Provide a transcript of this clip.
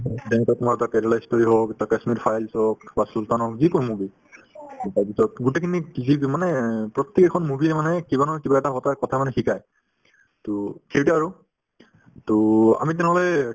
যেনেকে তোমাৰ ধৰা কেৰেলা ই story the kashmir files হওক বা sultan হওক যিকোনো movie to তাৰভিতৰত গোটেইখিনি যি মানে প্ৰত্যেক এখন movie ৰে মানে কিবা নহয় কিবা এটা কথাৰ কথা মানে শিকাই to সেইটোয়ে আৰু to আমি তেনেহ'লে